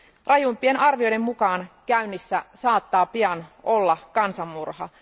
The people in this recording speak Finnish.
Rajuimpien arvioiden mukaan käynnissä saattaa pian olla kansanmurha.